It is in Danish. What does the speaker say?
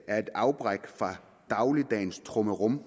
er et afbræk fra dagligdagens trummerum